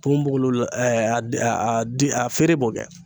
Ponbogolo a den a feere b'o kɛ.